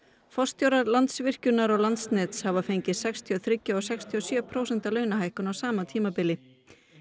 forstjórar Landsvirkjunar og Landsnets hafa fengið sextíu og þrjú og sextíu og sjö prósenta launahækkun á sama tímabili